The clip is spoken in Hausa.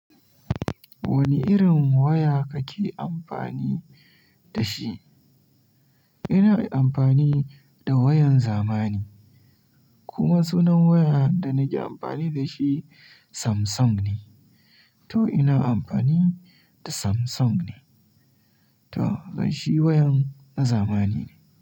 Wani irin waya kake amfani da shi? Ina amfani da wayan zamani, kuma sunan waya da nake amfani da shi Samsung ne. To ina amfani da Samsung ne. To ai shi wayan na zamani ne.